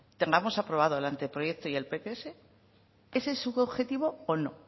tengamos aprobado el anteproyecto y el pts ese es su objetivo o no